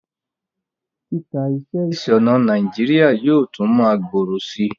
Títa iṣẹ́ ìsònà Naijiria yio tun ma gbòrò si